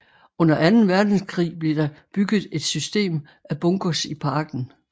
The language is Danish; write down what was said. Under Anden Verdenskrig blev der bygget en system af bunkers i parken